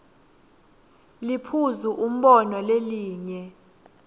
liphuzu umbono lelinye